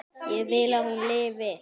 Ég vil að hún lifi.